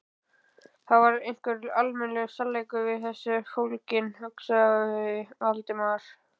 Það var einhver almennur sannleikur í þessu fólginn, hugsaði Valdimar.